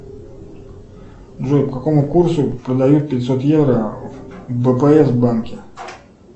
джой по какому курсу продают пятьсот евро в бпс банке